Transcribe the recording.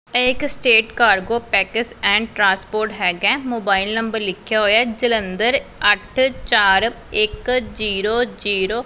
ਇਹ ਇੱਕ state cargo package and transport ਹੈਗਾ ਮੋਬਾਇਲ ਨੰਬਰ ਲਿਖਿਆ ਹੋਇਆ ਜਲੰਧਰ ਅੱਠ ਚਾਰ ਇੱਕ ਜ਼ੀਰੋ ਜ਼ੀਰੋ